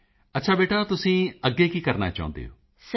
ਮੋਦੀ ਜੀ ਅੱਛਾ ਬੇਟਾ ਤੁਸੀਂ ਅੱਗੇ ਕੀ ਕਰਨਾ ਚਾਹੁੰਦੇ ਹੋ